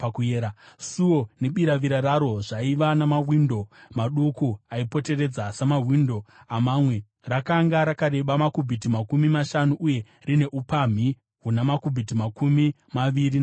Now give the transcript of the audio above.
Suo nebiravira raro zvaiva namawindo maduku aipoteredza, samawindo amamwe. Rakanga rakareba makubhiti makumi mashanu uye rine upamhi huna makubhiti makumi maviri namashanu.